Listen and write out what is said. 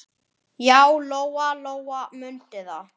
Og þagði.